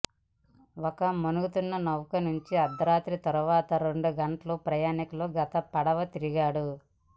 ఒక మునుగుతున్న నౌక నుంచి అర్ధరాత్రి తర్వాత రెండు గంటల ప్రయాణికులు గత పడవ తిరిగాడు